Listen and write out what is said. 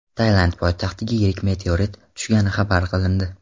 Tailand poytaxtiga yirik meteorit tushgani xabar qilindi.